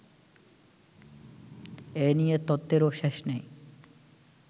এ নিয়ে তত্ত্বেরও শেষ নেই